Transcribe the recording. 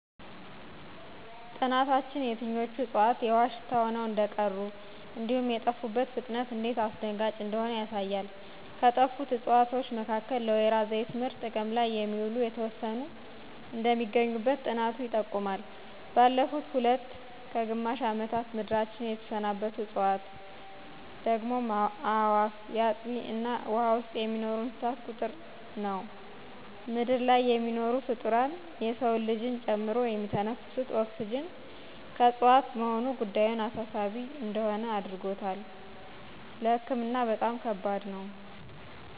ጥናታችን የትኞቹ ዕፅዋት የውሃ ሽታ ሆነው እንደቀሩ፤ እንዲሁም የጠፉበት ፍጥነት እንዴት አስደንጋጭ እንደሆነ ያሳያል» ከጠፉት ዕፅዋት መካከል ለወይራ ዘይት ምርት ጥቅም ላይ የሚውሉ የተወሰኑ እንደሚገኙበት ጥናቱ ይጠቁማል። ባለፉት ሁለት ከግማሽ ምዕት ዓመታት ምድራችንን የተሰናበቱ ዕፅዋት፤ ደግሞ የአእዋፍ፣ የአጥቢ እና ውሃ ውስጥ የሚኖሩ እንስሳት ቁጥር ነው። ምድር ላይ የሚኖሩ ፍጡራን [የሰው ልጅን ጨምሮ] የሚተነፍሱት ኦክስጅን ከዕፅዋት መሆኑ ጉዳዩን አሳሳቢ እንደሆን አድርጎታል። ለህክምና በጣም ከበድ ነው